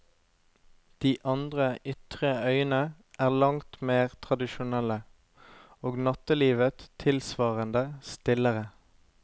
De andre ytre øyene er langt mer tradisjonelle, og nattelivet tilsvarende stillere.